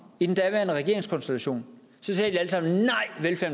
i den daværende regeringskonstellation